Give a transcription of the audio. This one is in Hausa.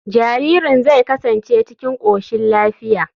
Jaririn zai kasance cikin koshin lafiya.